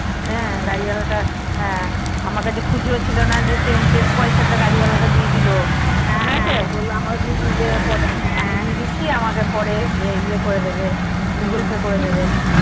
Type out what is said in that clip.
হ্যাঁ গাড়ি ওয়ালা তা আমার কাছে খুচরো ছিল না পয়সা তা গাড়ি ওয়ালা টা দিয়ে দিলো হ্যাঁ হ্যাঁ আমি দিয়ে দিচ্ছি আমাকে পরে ইয়ে করে দেবে Google Pay করে দেবে